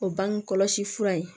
O bange kɔlɔsi fura ye